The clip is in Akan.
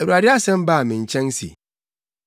Awurade asɛm baa me nkyɛn se,